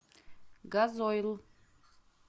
газойл